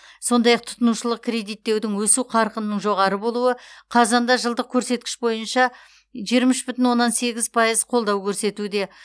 сондай ақ тұтынушылық кредиттеудің өсу қарқынының жоғары болуы қазанда жылдық көрсеткіш бойынша жиырма үш бүтін оннан сегіз пайыз қолдау көрсетуде